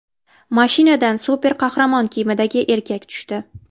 Mashinadan super qahramon kiyimidagi erkak tushdi.